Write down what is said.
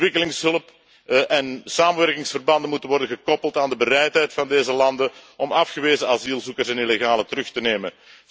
Ontwikkelingshulp en samenwerkingsverbanden moeten worden gekoppeld aan de bereidheid van deze landen om afgewezen asielzoekers en illegalen terug te nemen.